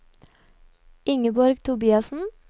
Ingeborg Tobiassen